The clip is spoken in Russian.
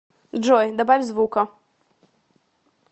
джой добавь звука